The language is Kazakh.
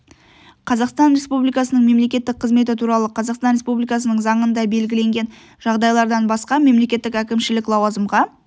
қазақстан республикасының мемлекеттік қызметі туралы қазақстан республикасының заңында белгіленген жағдайлардан басқа мемлекеттік әкімшілік лауазымға